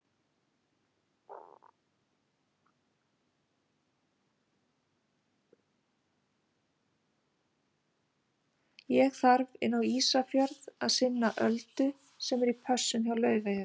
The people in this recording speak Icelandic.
Ég þarf inn á Ísafjörð að sinna Öldu sem er í pössun hjá Laufeyju.